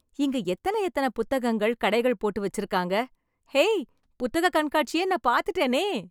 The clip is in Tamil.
இங்க எத்தன எத்தன புத்தகங்கள், கடைகள் போட்டு வெச்சிருக்காங்க... ஹே... புத்தக கண்காட்சியை நா பாத்துட்டேனே...